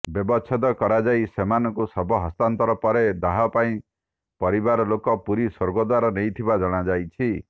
ବ୍ୟବଛେଦ କରାଯାଇ ସେମାନଙ୍କୁ ଶବ ହସ୍ତାନ୍ତର ପରେ ଦାହ ପାଇଁ ପରିବାରଲୋକ ପୁରୀ ସ୍ୱର୍ଗଦ୍ୱାର ନେଇଥିବା ଜଣାଯାଇଛି